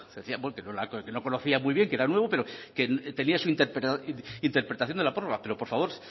decía que no conocía muy bien que era nuevo pero que tenía su interpretación de la prórroga pero por favor